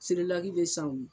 Sereki be san u ye